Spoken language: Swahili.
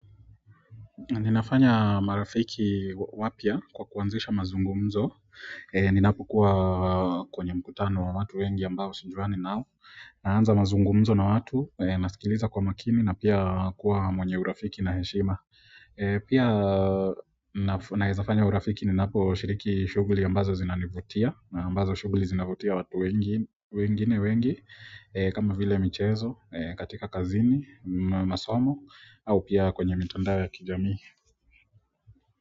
Ninafanya marafiki wapya kwa kuanzisha mazungumzo ninapo kuwa kwenye mkutano wa watu wengi ambao sijuani nao na anza mazungumzo na watu, nasikiliza kwa makini na pia kuwa mwenye urafiki na heshima pia naweza fanya urafiki ninapo shiriki shughuli ambazo zinanivutia na ambazo shughuli zinavutia watu wengine wengi kama vile michezo, katika kazini, masomo au pia kwenye mitandao ya kijamii.